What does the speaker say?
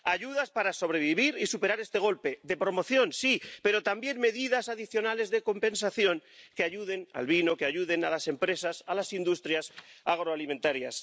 Ayudas para sobrevivir y superar este golpe —de promoción, sí—, pero también medidas adicionales de compensación que ayuden al vino, que ayuden a las empresas, a las industrias agroalimentarias.